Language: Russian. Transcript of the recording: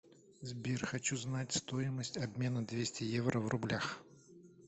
сбер хочу знать стоимость обмена двести евро в рублях